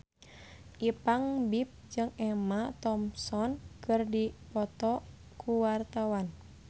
Ipank BIP jeung Emma Thompson keur dipoto ku wartawan